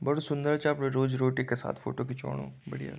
बड़ु सुन्दर चा अपणी रोजी रोटी के साथ फोटो खिच्वाणु बढ़िया --